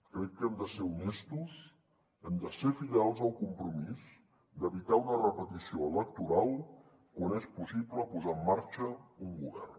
crec que hem de ser honestos hem de ser fidels al compromís d’evitar una repetició electoral quan és possible posar en marxa un govern